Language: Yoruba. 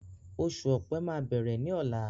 Oṣù ọ̀pẹ máa bẹ̀rẹ̀ ni ọ̀la